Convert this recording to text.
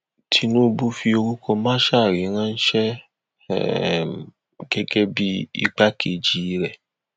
tinúbù fi orúkọ masari ránṣẹ um gẹgẹ bíi igbákejì rẹ